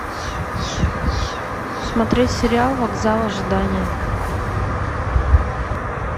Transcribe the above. смотреть сериал вокзал ожидания